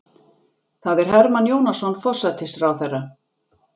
Það er Hermann Jónasson forsætisráðherra.